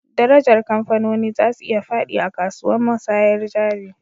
Darajar kamfanoni za su iya fadi a kasuwan musayyar jari